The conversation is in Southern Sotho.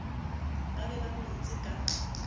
ba be ba mmetse ka